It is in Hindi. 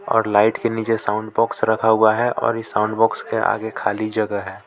और लाइट के नीचे साउंड बॉक्स रखा हुआ है और इस साउंड बॉक्स के आगे खाली जगह है.